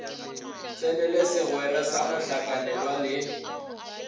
tsenele segwera sa mohlakanelwa le